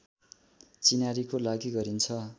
चिनारीको लागि गरिन्छ